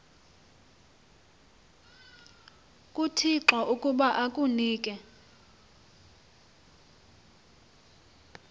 kuthixo ukuba akunike